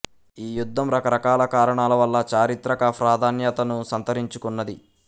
ఈ యుధ్ధం రకరకాల కారణాల వల్ల చారిత్రక ఫ్రాధన్యతను సంతరించుకున్నది